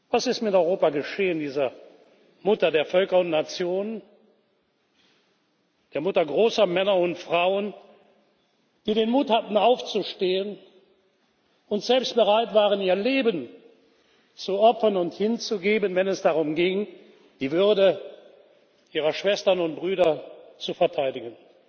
Was ist mit Europa geschehen, dieser Mutter der Völker und Nationen, der Mutter großer Männer und Frauen, die den Mut hatten, aufzustehen und selbst bereit waren, ihr Leben zu opfern und hinzugeben, wenn es darum ging, die Würde ihrer Schwestern und Brüder zu verteidigen?